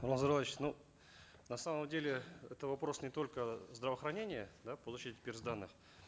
нурлан зайроллаевич ну на самом деле это вопрос не только здравоохранения да получить перс данные